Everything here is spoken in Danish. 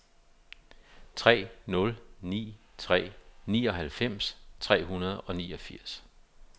tre nul ni tre nioghalvfems tre hundrede og niogfirs